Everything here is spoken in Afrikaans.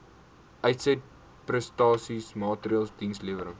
uitsetprestasie maatreëls dienslewerings